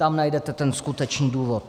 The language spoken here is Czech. Tam najdete ten skutečný důvod.